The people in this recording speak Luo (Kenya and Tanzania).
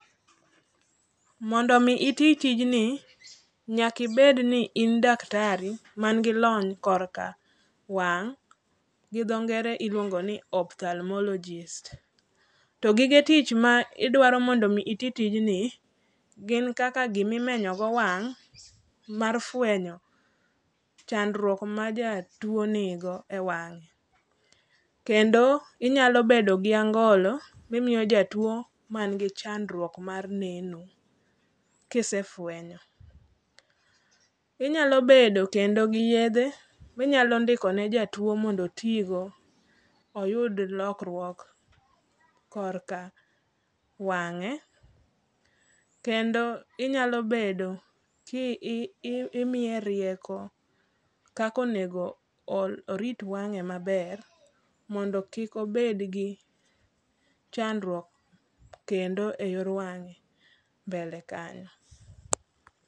Mondo omi iti tijni, nyaka ibed ni in daktari manigi lony korka wang' ,gi dho ngere iluongo ni opthalmologist. To gige tich ma idwaro mondo omi iti tijni gin kaka gimi menyo go wang' mar fwenyo chandruok ma jatuwo nigo e wang'e. Kendo inyalo bedo gi angolo mimiyo jatuwo manigi chandruok mar neno kisefwenye. Inyalo bedo kendo gi yethe minyalo ndiko ne jatuwo mondo otigo, oyud lokruok korka wang'e. Kendo inyalo bedo kimiye rieko kaka onego orit wang'e maber mondo kik obed gi chandruok kendo e yor wang'e mblele kanyo.